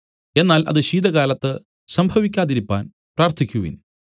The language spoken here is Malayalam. എന്നാൽ അത് ശീതകാലത്ത് സംഭവിക്കാതിരിപ്പാൻ പ്രാർത്ഥിക്കുവിൻ